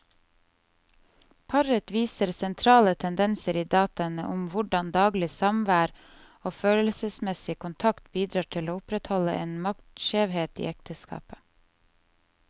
Paret viser sentrale tendenser i dataene om hvordan daglig samvær og følelsesmessig kontakt bidrar til å opprettholde en maktskjevhet i ekteskapet.